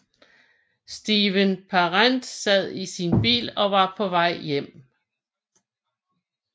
Steven Parent sad i sin bil og var på vej hjem